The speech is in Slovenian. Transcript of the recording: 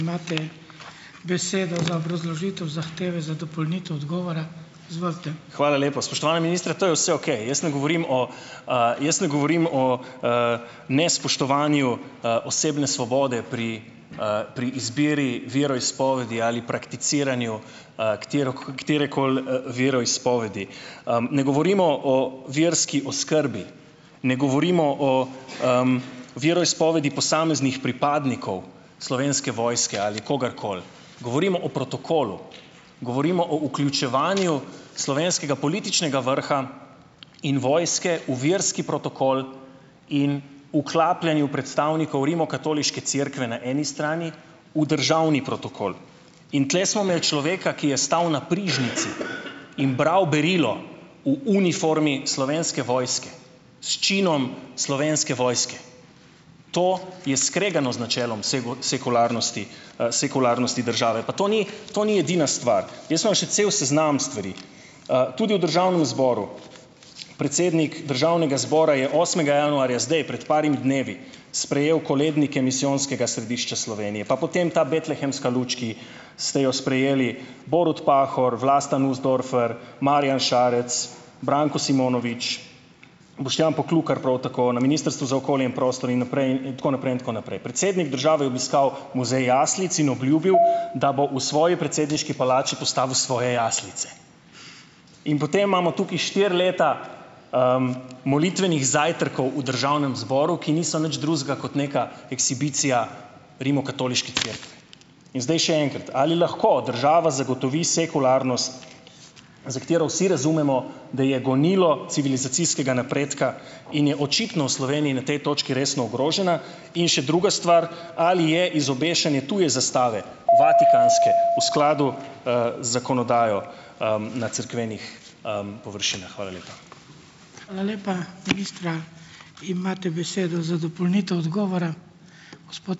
Hvala lepa. Spoštovani minister, to je vse okej. Jaz ne govorim o, jaz ne govorim o, nespoštovanju, osebne svobode pri, pri izbiri veroizpovedi ali prakticiranju, katerekoli, veroizpovedi. Ne govorimo o verski oskrbi. Ne govorimo o, veroizpovedi posameznih pripadnikov Slovenske vojske ali kogarkoli. Govorimo o protokolu. Govorimo o vključevanju slovenskega političnega vrha in vojske v verski protokol in vklapljanju predstavnikov Rimokatoliške cerkve na eni strani v državni protokol. In tule smo imeli človeka, ki je stal na prižnici in bral berilo v uniformi Slovenske vojske s činom Slovenske vojske. To je skregano z načelom sekularnosti, sekularnosti države. Pa to ni to ni edina stvar. Jaz imam še cel seznam stvari. Tudi v državnem zboru predsednik državnega zbora je osmega januarja zdaj prej parim dnevi sprejel kolednike Misijonskega središča Slovenije, pa potem ta betlehemska luč, ki ste jo sprejeli, Borut Pahor, Vlasta Nussdorfer, Marjan Šarec, Branko Simonovič, Boštjan Poklukar prav tako, na Ministrstvu za okolje in prostor in naprej in tako naprej in tako naprej. Predsednik države je obiskal muzej jaslic in obljubil , da bo v svoji predsedniški palači postavil svoje jaslice. In potem imamo tukaj štiri leta, molitvenih zajtrkov v državnem zboru, ki niso nič drugega kot neka ekshibicija Rimokatoliške cerkve. In zdaj še enkrat, ali lahko država zagotovi sekularnost, za katero vsi razumemo, da je gonilo civilizacijskega napredka, in je očitno v Sloveniji na tej točki resno ogrožena? In še druga stvar, ali je izobešanje tuje zastave, vatikanske, v skladu, z zakonodajo, na cerkvenih, površinah? Hvala lepa.